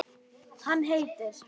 Hann heitir